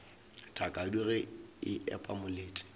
thakadu ge e epa molete